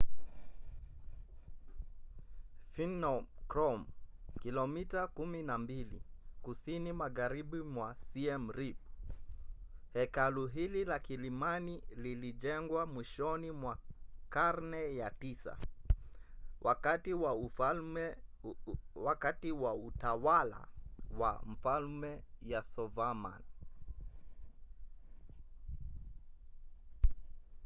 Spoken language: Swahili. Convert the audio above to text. phnom krom kilomita 12 kusini magharibi mwa siem reap. hekalu hili la kilimani lilijengwa mwishoni mwa karne ya 9 wakati wa utawala wa mfalme yasovarman